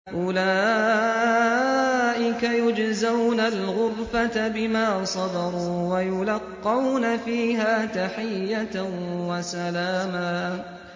أُولَٰئِكَ يُجْزَوْنَ الْغُرْفَةَ بِمَا صَبَرُوا وَيُلَقَّوْنَ فِيهَا تَحِيَّةً وَسَلَامًا